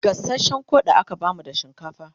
gasashen Koda aka bamu da shinkafa